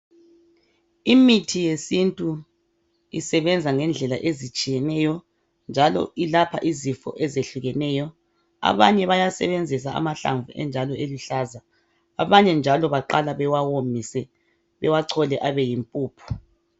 imithi yesintu isebenza ngendlela ezitshiyeneyo njalo ilapha izifo ezitshiyeneyo abanye bayasebenzisa amahlamvu enjalo eluhlaza abanye njalo baqala bewawomise bewachole abe yimpuphu